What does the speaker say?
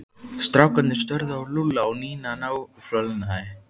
Strákarnir störðu á Lúlla og Nína náfölnaði.